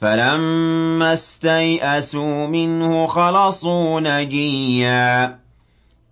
فَلَمَّا اسْتَيْأَسُوا مِنْهُ خَلَصُوا نَجِيًّا ۖ